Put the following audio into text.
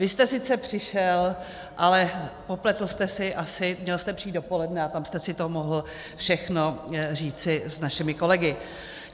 Vy jste sice přišel, ale popletl jste si asi, měl jste přijít dopoledne a tam jste si to mohl všechno říci s našimi kolegy.